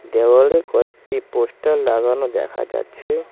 দেওয়ালে কয়েকটি পোস্টার লাগানো দেখা যাচ্ছে।